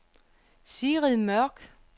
Sigrid Mørk